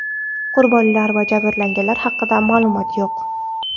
Qurbonlar va jabrlanganlar haqida ma’lumot yo‘q.